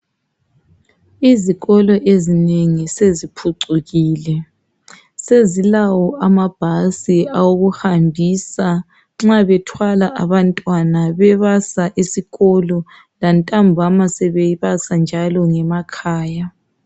Izikolo ezinengi seziphucukile sezilawo amabhasi okuhambisa nxa bethwala abantwana bebasa esikolo lantambama sebebasa njalo ngemakhaya